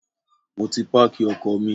Mo ti páàkì ọkọ̀ mi.